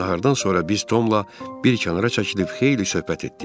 Nahardan sonra biz Tomla bir kənara çəkilib xeyli söhbət etdik.